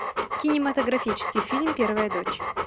кинематографический фильм первая дочь